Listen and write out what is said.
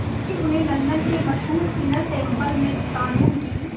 तभी उन्हें लंदन के मशहूर इनर टेम्पल में क़ानून की